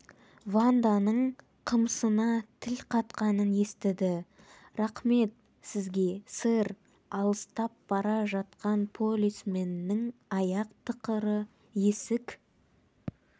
ванданың қымсына тіл қатқанын естіді рақмт сізге сэр алыстап бара жатқан полисменнің аяқ тықыры есік